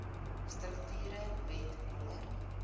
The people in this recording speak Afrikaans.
strukture wet no